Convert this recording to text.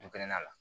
Dukɛnɛla